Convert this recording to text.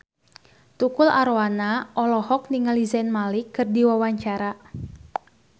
Tukul Arwana olohok ningali Zayn Malik keur diwawancara